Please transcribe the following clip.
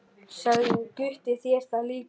Sagði Gutti þér það líka?